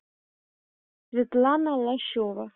светлана лощева